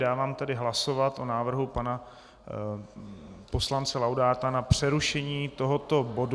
Dávám tedy hlasovat o návrhu pana poslance Laudáta na přerušení tohoto bodu.